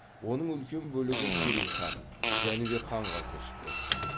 оның үлкен бөлігі керей хан жәнібек ханға көшіп кетті